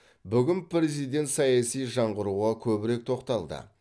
бүгін президент саяси жаңғыруға көбірек тоқталды